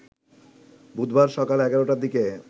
বুধবার সকাল ১১টার দিকে